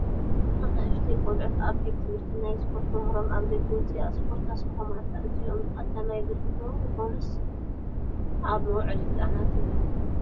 ኣናኡሽተይ ቖልዑት ኣብ ቤት ት/ቲ ናይ ስፖርት መምህሮም ኣብ ደገ ኣውፂኣ እስፖት ተስርሖም ኣላ፡ እዚኦም ቐዳማይ ብርኪ 'ዶ ይኾኑስ ኣብ መውዓሊ ህፃናት እዩም ?